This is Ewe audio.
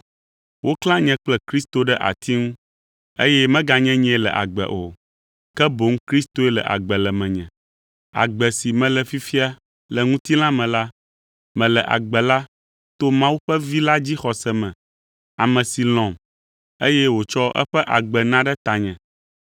Woklã nye kple Kristo ɖe ati ŋu, eye meganye nyee le agbe o, ke boŋ Kristoe le agbe le menye. Agbe si mele fifia le ŋutilã me la, mele agbe la to Mawu ƒe Vi la dzixɔse me, ame si lɔ̃m, eye wòtsɔ eƒe agbe na ɖe tanye.